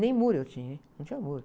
Nem muro eu tinha, não tinha muro.